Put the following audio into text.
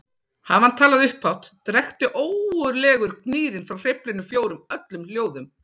Hafi hann talað upphátt drekkti ógurlegur gnýrinn frá hreyflunum fjórum öllum hljóðum.